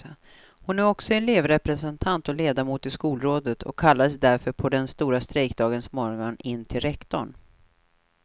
Hon är också elevrepresentant och ledamot i skolrådet och kallades därför på den stora strejkdagens morgon in till rektorn.